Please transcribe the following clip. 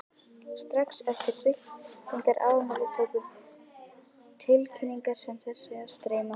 Strax eftir byltingarafmælið tóku tilkynningar sem þessi að streyma frá